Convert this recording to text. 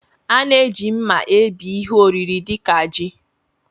A na-eji mma ebí ihe oriri dị ka ji